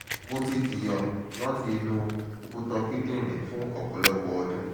mo ti jiya lati inu okuta kidinrin fun ọpọlọpọ ọdun